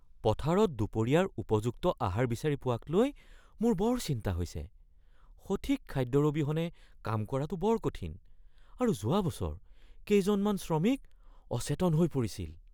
পথাৰত দুপৰীয়াৰ উপযুক্ত আহাৰ বিচাৰি পোৱাকলৈ মোৰ বৰ চিন্তা হৈছে। সঠিক খাদ্যৰ অবিহনে কাম কৰাটো বৰ কঠিন আৰু যোৱা বছৰ কেইজনমান শ্ৰমিক অচেতন হৈ পৰিছিল।